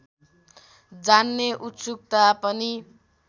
जान्ने उत्सुकता पनि